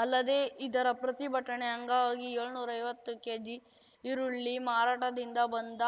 ಅಲ್ಲದೆ ಇದರ ಪ್ರತಿಭಟನೆ ಅಂಗವಾಗಿ ಏಳ್ನೂರೈವತ್ತು ಕೇಜಿ ಈರುಳ್ಳಿ ಮಾರಾಟದಿಂದ ಬಂದ